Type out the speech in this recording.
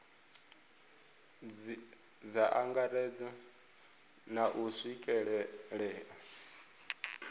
dza angaredza na u swikelelea